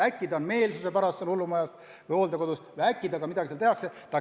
Äkki ta on meelsuse pärast hullumajas või hooldekodus ja äkki temaga tehakse seal midagi lubamatut.